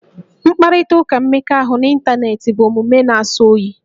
Mkparịtaụka mmekọahụ n'ịntaneetị bụ omume na-asọ oyi